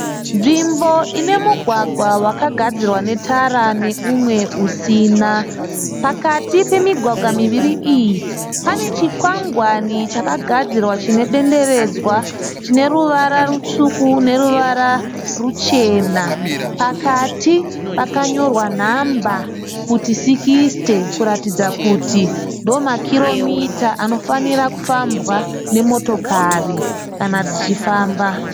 Nzvimbo inemugwagwa wakagadzirwa netara neumwe usina. Pakati pemigwagwa miviri iyi pane chikwangwani chakagadzirwa chine denderedzwa chineruvara rutsvuku neruvara ruchena, pakati pakanyorwa nhamba kuti sikisite kuratidza kuti ndiwo makiromita anofanira kufambwa nemotikari kana dzichifamba.